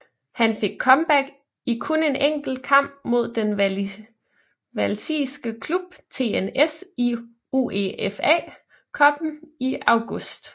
Han fik comeback i kun en enkelt kamp mod den walisiske klub TNS i UEFA Cuppen i august